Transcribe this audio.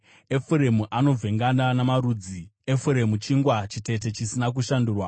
“Efuremu anovhengana namarudzi; Efuremu chingwa chitete chisina kushandurwa.